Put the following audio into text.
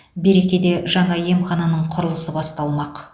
берекеде жаңа емхананың құрылысы басталмақ